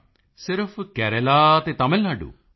ਮੋਦੀ ਜੀ ਸਿਰਫ ਕੇਰਲਾ ਤੇ ਤਮਿਲ ਨਾਡੂ